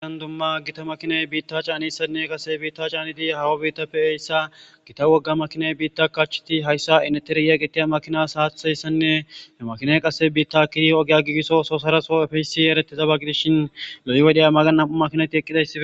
ian dumma gita makiney biitta caanissanne qase biitta caaniti hawa biittappe heyssa gita wogga makinay biitta kacheti hayssa ineteriye gittiya makinas haathayssanne he makiney qasse biitta kidi ogiya giigisso soosaraso efeysi eretezaba gidishshin lo7i wodheya magan nam7u makinati eqqidaiae